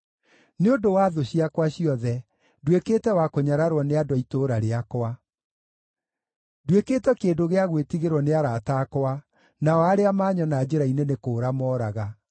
Nĩ ũndũ wa thũ ciakwa ciothe, nduĩkĩte wa kũnyararwo nĩ andũ a itũũra rĩakwa; nduĩkĩte kĩndũ gĩa gwĩtigĩrwo nĩ arata akwa, nao arĩa maanyona njĩra-inĩ nĩ kũũra moraga.